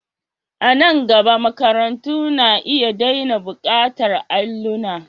A nan gaba, makarantu na iya daina buƙatar allona.